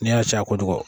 N'i y'a caya kojugu